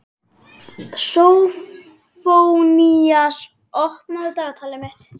Sófónías, opnaðu dagatalið mitt.